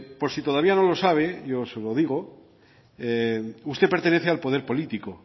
por si todavía no lo sabe yo se lo digo usted pertenece al poder político